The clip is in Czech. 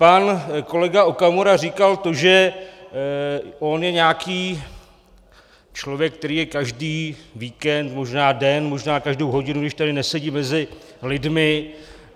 Pan kolega Okamura říkal to, že on je nějaký člověk, který je každý víkend, možná den, možná každou hodinu, když tady nesedí, mezi lidmi.